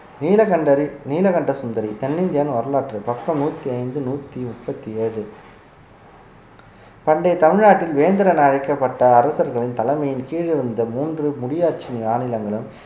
நீலகண்டரி நீலகண்டசுந்தரி தென்னிந்தியாவின் வரலாற்று பக்கம் நூத்தி ஐந்து நூத்தி முப்பத்தி ஏழு பண்டைய தமிழ்நாட்டில் வேந்தர் என அழைக்கப்பட்ட அரசர்களின் தலைமையின் கீழ் இருந்த மூன்று முடியாட்சி மாநிலங்களும்